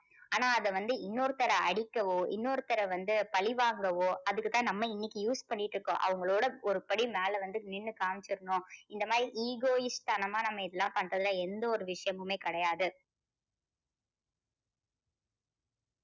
ஆனால் அதை வந்து இன்னொருத்தர அடிக்கவோ இன்னொருத்தர வந்து பழிவாங்கவோ அதுக்கு தான் நம்ம வந்து இன்னைக்கு use பண்ணிட்டு இருக்கோம். அவங்களோட ஒரு படி மேல வந்து நின்னு காமிச்சிரணும் இந்த மாதிரி egoist தனமா நம்ம இதெல்லாம் பண்றதுல எந்த ஒரு விஷயமுமே கிடையாது.